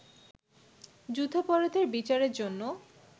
যুদ্ধাপরাধের বিচারের জন্য